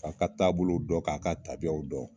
K'a ka taabolow dɔn, k'a ka tabiyaw dɔn.